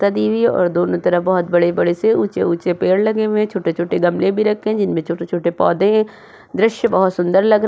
हुई है और दोनों तरफ बहोत बड़े बड़े से ऊंचे ऊंचे पेड़ लगे हुए हैं। छोटे छोटे गमले भी रखे हैं जिनमें छोटे छोटे पौधे हैं। दृश्य बहोत सुंदर लग --